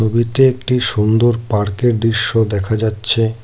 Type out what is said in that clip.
ছবিতে একটি সুন্দর পার্কের দৃশ্য দেখা যাচ্ছে।